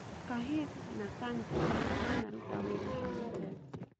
Cahil na Cante manaruta wĩra hamwe Chelsea